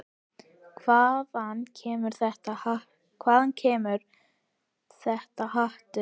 Hvaðan kemur þetta hatur?